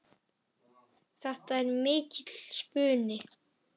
Þetta er mikill spuni.